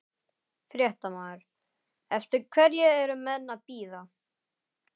Fréttamaður: Eftir hverju eru menn að bíða?